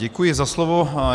Děkuji za slovo.